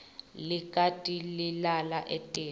likati lilala etiko